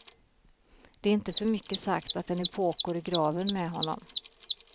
Det är inte för mycket sagt att en epok går i graven med honom.